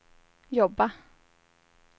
jobba